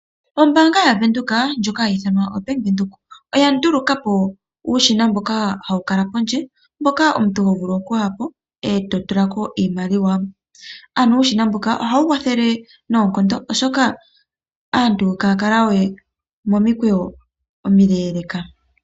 Ombaanga ya venduka ha yi ithanwa Bank Windhoek oya nduluka po uushina ha wu kala pondje. Omuntu oto vulu okuyapo ee to tulako iimaliwa, uushina mbuka oha wu kwathele noonkondo molwaashoka aantu iha ya kala we momikweyo omileeleka.